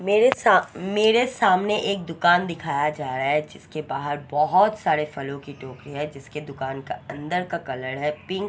मेरे सा मेरे सामने एक दुकान दिखाया जारा है जिसके बहार बोहोत सारे फलो की टोकरी है जिसके दुकान का उनदर का कलर पिंक और--